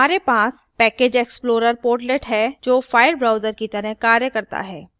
हमारे पास package explorer portlet है जो file browser की तरह कार्य करता है